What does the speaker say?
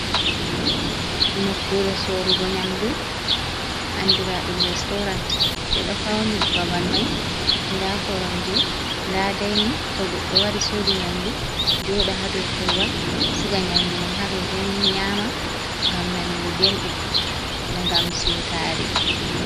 "Nokkure sorugo nyamdu andira ɗum restorant ɓeɗo fauni babal mai nda koromje nda dainin to goɗɗo wari sodi nyamdu joda ha dou korowal siga nyamdu mum ha dou dainin nyama ngam nanugo belɗum ngam siutare.